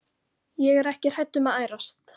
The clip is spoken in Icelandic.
Ég er ekki hrædd um að ærast.